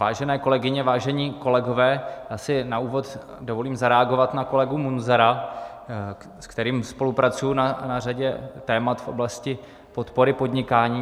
Vážené kolegyně, vážení kolegové, já si na úvod dovolím zareagovat na kolegu Munzara, se kterým spolupracuji na řadě témat v oblasti podpory podnikání.